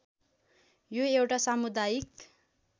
यो एउटा सामुदायिक